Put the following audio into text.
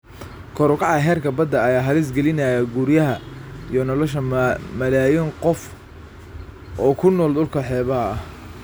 Kor u kaca heerka badda ayaa halis gelinaya guryaha iyo nolosha malaayiin qof oo ku nool dhulka xeebaha ah.